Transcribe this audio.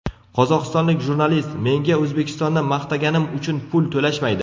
Qozog‘istonlik jurnalist: Menga O‘zbekistonni maqtaganim uchun pul to‘lashmaydi.